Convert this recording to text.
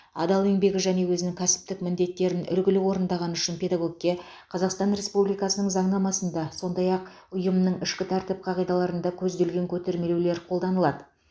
адал еңбегі және өзінің кәсіптік міндеттерін үлгілі орындағаны үшін педагогке қазақстан республикасының заңнамасында сондай ақ ұйымның ішкі тәртіп қағидаларында көзделген көтермелеулер қолданылады